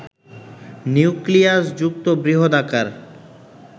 নিউক্লিয়াসযুক্ত বৃহদাকার